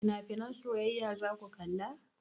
Finafinan soyayya zaku kalla?